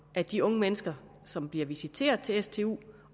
at de unge mennesker som bliver visiteret til stu